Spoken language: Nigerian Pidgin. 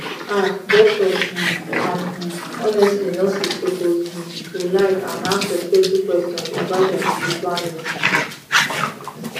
ah doctors um and um honestly nurses suppose um to like and ask respectful questions about dia spiritual needs